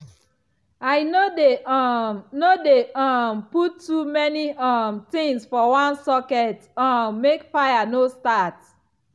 i no dey um no dey um put too many um things for one socket um make fire no start.